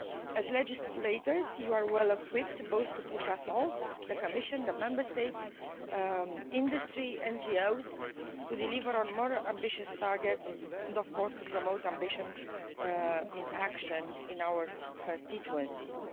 As legislators you are well equipped to push us all, the Commission, the Member States, industry, NGOs, to deliver on more ambitious targets and of course, to promote ambition in action in our constituencies.